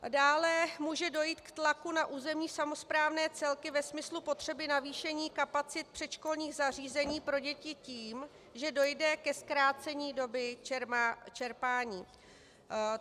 Dále může dojít k tlaku na územní samosprávné celky ve smyslu potřeby navýšení kapacit předškolních zařízení pro děti tím, že dojde ke zkrácení doby čerpání.